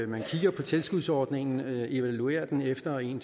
man kigger på tilskudsordningen og evaluerer den efter en